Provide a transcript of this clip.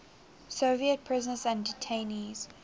soviet prisoners and detainees